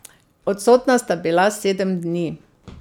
Odsotna sta bila sedem dni.